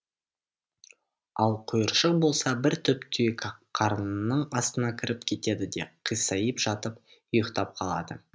ал құйыршық болса бір түп түйеқарынның астына кіріп кетеді де қисайып жатып ұйқтап қалады